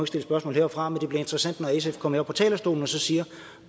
stille spørgsmål heroppefra men det bliver interessant når sf kommer herop på talerstolen og så siger